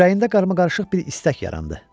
Ürəyində qarışıq bir istək yarandı.